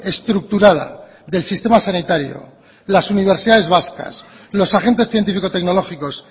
estructurada del sistema sanitario las universidades vascas los agentes científico tecnológicos